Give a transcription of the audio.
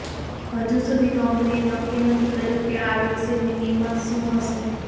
હજુ સુધી કંપનીએ નક્કી નથી કર્યું કે આ વેક્સીનની કિંમત શું હશે